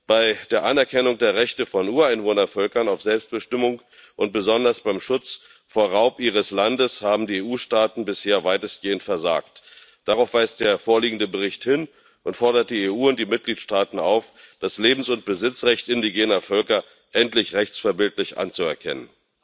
Bei der Anerkennung der Rechte von Ureinwohnervölkern auf Selbstbestimmung und besonders beim Schutz vor Raub ihres Landes haben die EU Staaten bisher weitestgehend versagt. Darauf weist der vorliegende Bericht hin und fordert die EU und die Mitgliedstaaten auf, das Lebens und Besitzrecht indigener Völker endlich rechtsverbindlich anzuerkennen.